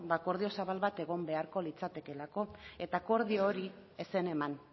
akordio zabal bat egon beharko litzatekeelako eta akordio hori ez zen eman